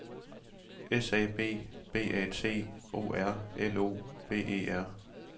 S A B B A T O R L O V E R